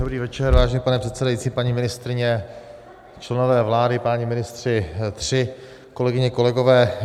Dobrý večer, vážený pane předsedající, paní ministryně, členové vlády, páni ministři tři, kolegyně, kolegové.